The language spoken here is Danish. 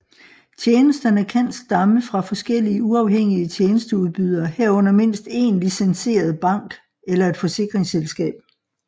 Tjenesterne kan stamme fra forskellige uafhængige tjenesteudbydere herunder mindst én licenseret bank eller et forsikringsselskab